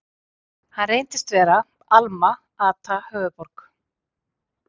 Hann reyndist vera Alma-Ata, höfuðborg